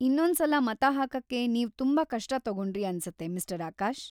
ಇನ್ನೊಂದ್ಸಲ ಮತ ಹಾಕಕ್ಕೆ ನೀವ್‌ ತುಂಬಾ ಕಷ್ಟ ತಗೊಂಡ್ರಿ ಅನ್ಸತ್ತೆ ಮಿಸ್ಟರ್‌ ಆಕಾಶ್.